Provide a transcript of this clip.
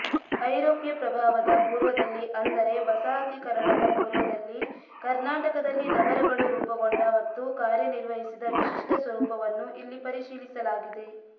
ಐರೋಪ್ಯ ಪ್ರಭಾವದ ಪೂರ್ವದಲ್ಲಿ ಅಂದರೆ ವಸಾಹತೀಕರಣದ ಪೂರ್ವದಲ್ಲಿ ಕರ್ನಾಟಕದಲ್ಲಿ ನಗರಗಳು ರೂಪುಗೊಂಡ ಮತ್ತು ಕಾರ್ಯನಿರ್ವಹಿಸಿದ ವಿಶಿಷ್ಟ ಸ್ವರೂಪವನ್ನು ಇಲ್ಲಿ ಪರಿಶೀಲಿಸಲಾಗಿದೆ